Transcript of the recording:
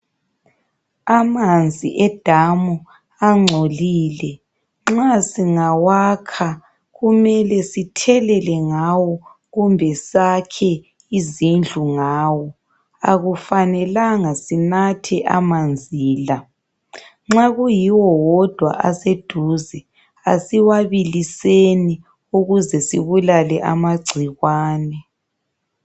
Amanzi edamu angcolile. Nxa singawakha kumele sithelele ngawo kumbe sakhe izindlu ngawo. Akufanelanga sinathe amanzi la. Nxa kuyiwo wodwa aseduze asiwabiliseni ukuze sibulale amagcikwane.